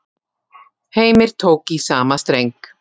Heimir tók í sama streng.